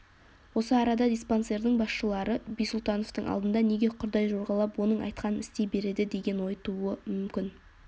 осы арада диспансердің басшылары бисұлтановтың алдында неге құрдай жорғалап оның айтқанын істей береді деген ой туы мүмкін